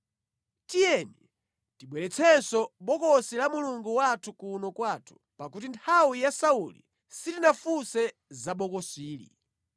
Tiyeni tibweretsenso Bokosi la Mulungu wathu kuno kwathu, pakuti nthawi ya Sauli sitinafunse za bokosili.”